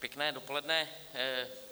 Pěkné dopoledne.